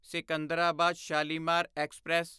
Secunderabad Shalimar express